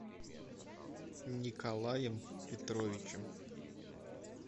николаем петровичем